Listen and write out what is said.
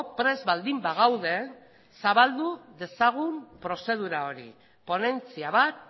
prest baldin bagaude zabaldu dezagun prozedura hori ponentzia bat